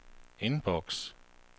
indboks